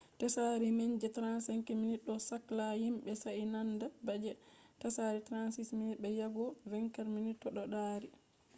tsari man je 35mm ɗo sakla himɓe sai nanda ba je tsari 36mm be yajugo 24mm to ɗo dari